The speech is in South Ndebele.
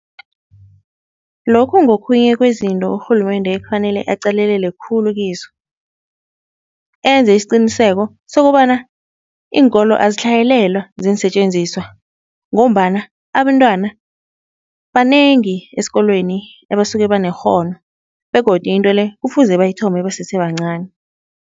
Lokhu ngokhunye kwezinto urhulumende ekufanele aqalelele khulu kizo. Enze isiqiniseko sokobana iinkolo azitlhayelelwa ziinsetjenziswa ngombana abentwana banengi esikolweni ebasuke banekghono begodu into le kufuze bayithome basese bancani.